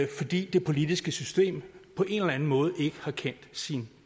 fordi det politiske system på en eller anden måde ikke har kendt sin